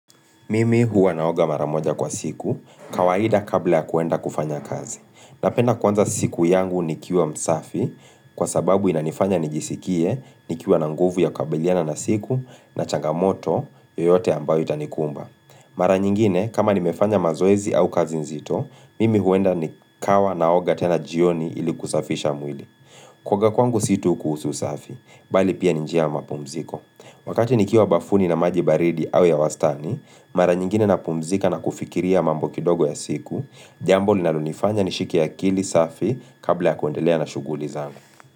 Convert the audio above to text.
Mimi huwa naoga mara moja kwa siku, kawaida kabla ya kuenda kufanya kazi. Napenda kuanza siku yangu nikiwa msafi, kwa sababu inanifanya nijisikie, nikiwa na nguvu ya kukabiliana na siku, na changamoto, yoyote ambayo itanikumba. Mara nyingine, kama nimefanya mazoezi au kazi nzito, mimi huenda nikawa naoga tena jioni ili kusafisha mwili. Kuoga kwangu si tu kuhusu usafi, bali pia ni njia ya mapumziko. Wakati nikiwa bafuni na maji baridi au ya wastani, mara nyingine napumzika na kufikiria mambo kidogo ya siku jambo linalonifanya nishike akili safi. Kabla ya kuendelea na shughuli zangu.